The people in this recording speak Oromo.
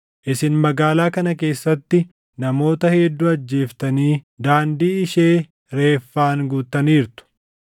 Isin magaalaa kana keessatti namoota hedduu ajjeeftanii daandii ishee reeffaan guuttaniirtu.